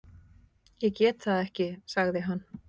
Ég get það ekki sagði hann.